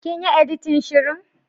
Kin yi editin shirin.